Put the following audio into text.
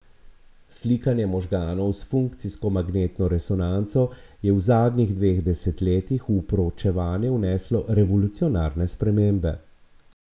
Slikanje možganov s funkcijsko magnetno resonanco je v zadnjih dveh desetletjih v proučevanje vneslo revolucionarne spremembe.